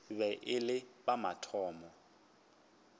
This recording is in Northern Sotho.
be e le la mathomo